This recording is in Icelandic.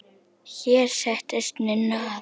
Hér settist Ninna að.